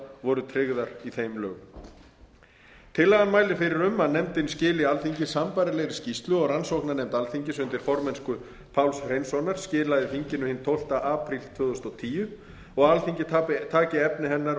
voru tryggðar í þeim lögum tillagan mælir fyrir um að nefndin skili alþingi sambærilegri skýrslu og rannsóknarnefnd alþingis undir formennsku páls hreinssonar skilaði þinginu hinn tólfta apríl tvö þúsund og tíu og að alþingi taki efni hennar